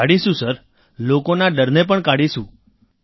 કાઢીશું સર લોકોના ડરને પણ કાઢીશું સર